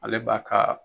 Ale b'a kaa